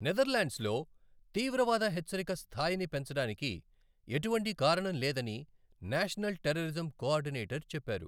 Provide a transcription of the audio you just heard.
నెదర్లాండ్స్లో తీవ్రవాద హెచ్చరిక స్థాయిని పెంచడానికి ఎటువంటి కారణం లేదని నేషనల్ టెర్రరిజం కోఆర్డినేటర్ చెప్పారు.